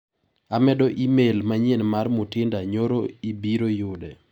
Amedo imel manyien mar Mutinda nyoro ibiro yude.